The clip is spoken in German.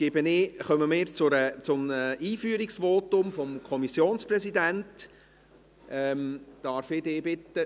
Nun kommen wir zu einem Einführungsvotum des Kommissionspräsidenten.